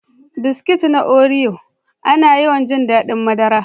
Biskit na Oreo, ana yawan jin daɗin madara.